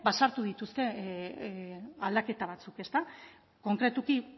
sartu dituzte aldaketa batzuk ezta konkretuki